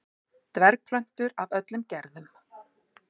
Dvergplöntur af öllum gerðum.